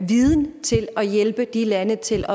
viden til at hjælpe de lande til